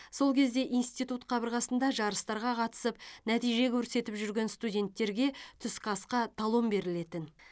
сол кезде институт қабырғасында жарыстарға қатысып нәтиже көрсетіп жүрген студенттерге түскі асқа талон берілетін